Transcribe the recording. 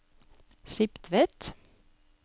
Skiptvet